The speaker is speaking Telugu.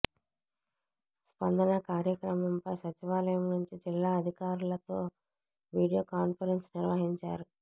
స్పందన కార్యక్రమంపై సచివాలయం నుంచి జిల్లా అధికారులతో వీడియో కాన్ఫరెన్స్ నిర్వహించారు